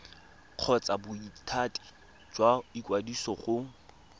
kgotsa bothati jwa ikwadiso go